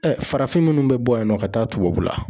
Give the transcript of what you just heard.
farafin minnu bɛ bɔ yan nɔ ka taa tubabu la